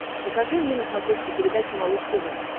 покажи мне на смотрешке передачу малыш тв